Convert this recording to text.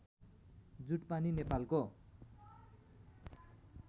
जुटपानी नेपालको